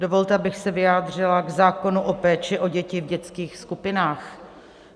Dovolte, abych se vyjádřila k zákonu o péči o děti v dětských skupinách.